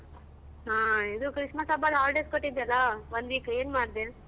ಹಾ ಇದು Christmas ಹಬ್ಬ holidays ಕೊಟ್ಟಿದ್ರಲ್ಲ one week ಏನ್ ಮಾಡ್ದೆ?